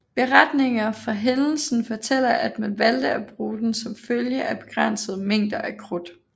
Beretninger fra hændelsen fortæller at man valgte at bruge den som følge af begrænsede mængder af krudt